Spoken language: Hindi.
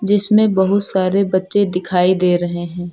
इसमें बहुत सारे बच्चे दिखाई दे रहे हैं।